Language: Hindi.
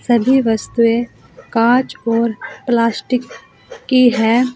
सभी वस्तुएं कांच और प्लास्टिक की हैं।